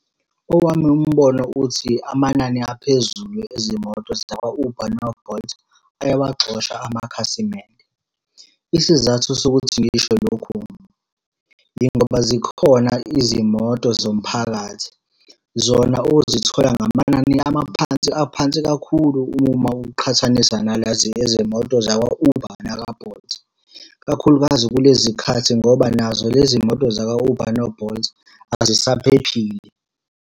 Owami umbono uthi, amanani aphezulu ezimoto zakwa-Uber no-Bolt, ayawagxosha amakhasimende. Isizathu sokuthi ngisho lokhu, yingoba zikhona izimoto zomphakathi, zona ozithola ngamanani amaphansi aphansi kakhulu uma uqhathanisa nalezi izimoto zakwa-Uber nakwa-Bolt. Kakhulukazi kulezi khathi ngoba nazo lezi moto zakwa-Uber no-Bolt azisaphephile.